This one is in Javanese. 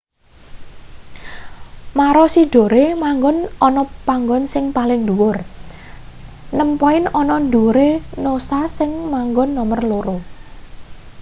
maroochydore manggon ana panggon sing paling dhuwur nem poin ana ndhuwure noosa sing manggon nomer loro